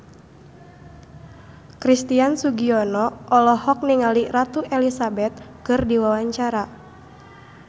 Christian Sugiono olohok ningali Ratu Elizabeth keur diwawancara